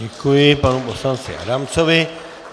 Děkuji panu poslanci Adamcovi.